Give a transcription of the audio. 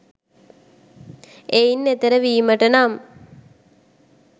එයින් එතෙර වීමට නම්